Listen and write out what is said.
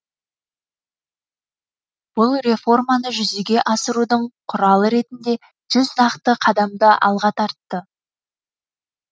бұл реформаны жүзеге асырудың құралы ретінде жүз нақты қадамды алға тартты